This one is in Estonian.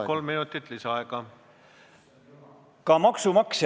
Palun, kolm minutit lisaaega!